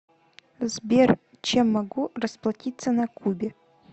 сбер чем могу расплатиться на кубе